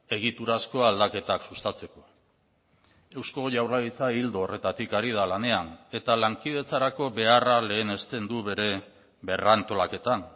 egiturazko aldaketak sustatzeko eusko jaurlaritza ildo horretatik ari da lanean eta lankidetzarako beharra lehenesten du bere berrantolaketan